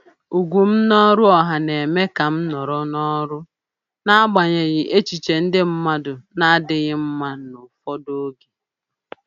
Ugwu m n’ọrụ ọha na-eme ka m nọrọ n’ọrụ, n’agbanyeghị echiche ndị mmadụ na-adịghị mma n’ụfọdụ oge.